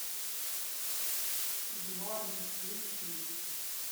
в норме включи